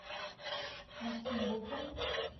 максим букин